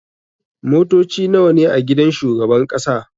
Motoci nawa ne a gidan shugaban ƙasa?